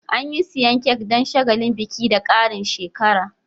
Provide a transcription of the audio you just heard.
Anyi siyan Kek Dan shagalin biki da Karin shekara